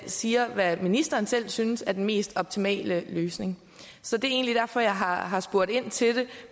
siger hvad ministeren selv synes er den mest optimale løsning så det er egentlig derfor jeg har spurgt ind til det